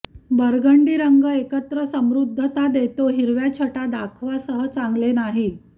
burgundy रंग एकत्र समृद्धता देतो हिरव्या छटा दाखवा सह चांगले नाही